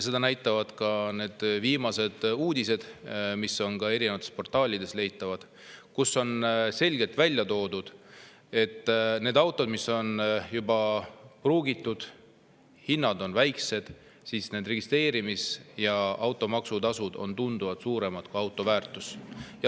Seda näitavad ka viimased uudised, mis on erinevates portaalides leitavad ja kus on selgelt välja toodud, et nende autode puhul, mis on juba pruugitud ja mille hinnad on väiksed, on registreerimistasu ja automaks tunduvalt suuremad kui auto väärtus.